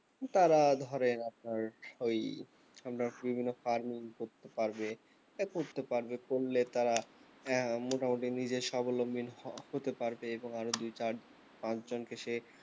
তারা ধরে আপনার সেই আমরা বিভিন্ন farming করতে পারবে করতে পারবে করলে তারা আহ মোটামুটি নিজের সাবলম্বিন হ~ হতে পারবে এবং আরও দুই চার পাঁচ জন কে সে